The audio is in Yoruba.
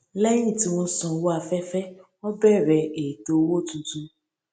lẹyìn tí wọn san owó afẹfẹ wọn bẹrẹ ètò owó tuntun